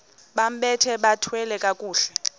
bambathe bathwale kakuhle